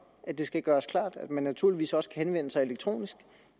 at det skal gøres klart at man naturligvis også kan henvende sig elektronisk